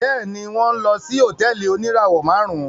Bẹẹni, wọn nlọ sí hotẹẹli onirawọ márùn